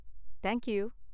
Thank you.